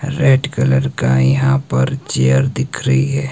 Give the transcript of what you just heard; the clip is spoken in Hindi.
रेड कलर का यहां पर चेयर दिख रही है।